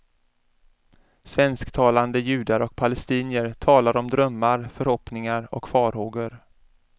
Svensktalande judar och palestinier talar om drömmar, förhoppningar och farhågor.